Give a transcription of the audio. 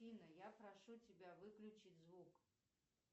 афина я прошу тебя выключить звук